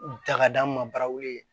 Ta ka d'an ma barawuli